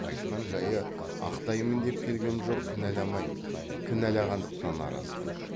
айтқан жайы ақтаймын деп келгем жоқ кінәламаймын кінәлағандықтан аразбын